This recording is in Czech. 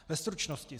Ve stručnosti.